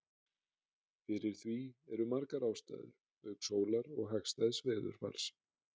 fyrir því eru margar ástæður auk sólar og hagstæðs veðurfars